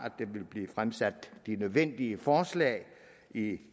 der ville blive fremsat de nødvendige forslag i